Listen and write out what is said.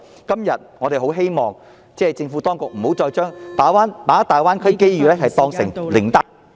今天，我們希望政府當局不要再把大灣區機遇當成靈丹......